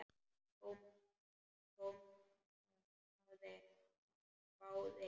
Thomas hváði.